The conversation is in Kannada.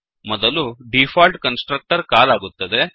ಮೊದಲು ಡಿಫಾಲ್ಟ್ ಕನ್ಸ್ ಟ್ರಕ್ಟರ್ ಕಾಲ್ ಆಗುತ್ತದೆ